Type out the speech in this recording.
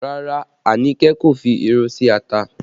Rárá, Anike kò fi irú sí ata